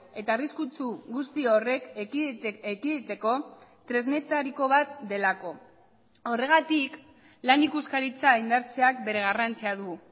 eta arriskutsu guzti horrek ekiditeko tresnetariko bat delako horregatik lan ikuskaritza indartzeak bere garrantzia du